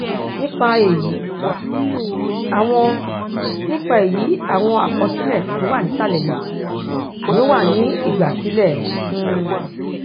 nípa èyí àwọn nípa èyí àwọn àkọsílè tó wà nísàlè yìí ni ó wà ní ìgbàsílẹ um